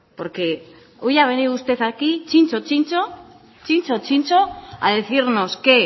porque hoy ha venido usted aquí txintxo txintxo a decirnos que